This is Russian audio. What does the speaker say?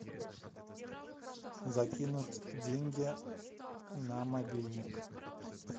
закинуть деньги на мобильник